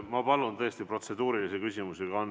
Ma palun tõesti protseduurilisi küsimusi.